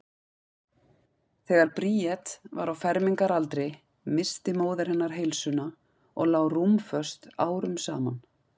Þegar Bríet var á fermingaraldri missti móðir hennar heilsuna og lá rúmföst árum saman.